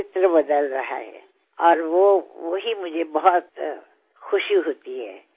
যেতিয়া আপুনি গৈ নিজৰ মাতৃৰ চৰণ স্পৰ্শ কৰিলে মইও এজনক তেওঁৰ ওচৰলৈ পঠিয়াইছিলো আৰু তেওঁৰ আশীৰ্বাদ লৈছিলো